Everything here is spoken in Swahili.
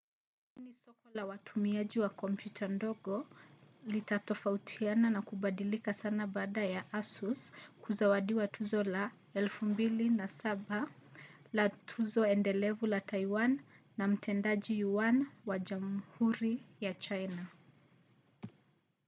lakini soko la watumiaji wa kompyuta ndogo litatofautiana na kubadilika sana baada ya asus kuzawadiwa tuzo la 2007 la tuzo endelevu la taiwan na mtendaji yuan wa jamhuri ya china